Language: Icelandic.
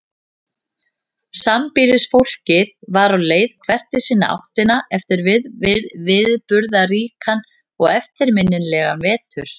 Sambýlisfólkið var á leið hvert í sína áttina eftir viðburðaríkan og eftirminnilegan vetur.